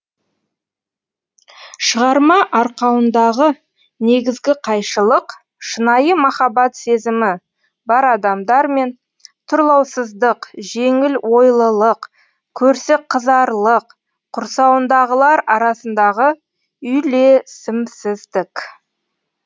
шығарма арқауындағы негізгі қайшылық шынайы махаббат сезімі бар адамдар мен тұрлаусыздық жеңіл ойлылық көрсеқызарлық құрсауындағылар арасындағы үйлесімсіздік